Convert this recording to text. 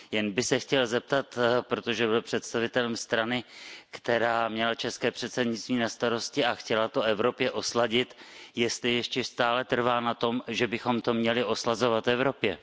Jen bych se chtěl zeptat, protože byl představitelem strany, která měla české předsednictví na starost a chtěla to Evropě osladit, jestli ještě stále trvá na tom, že bychom to měli oslazovat Evropě.